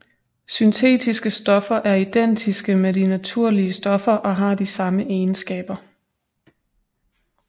Syntetiske stoffer er identiske med de naturlige stoffer og har de samme egenskaber